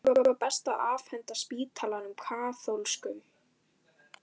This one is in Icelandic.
Kannski var best að afhenda spítalann kaþólskum?